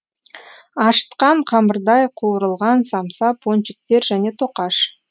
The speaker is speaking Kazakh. ашытқан қамырдай қуырылған самса пончиктер және тоқаш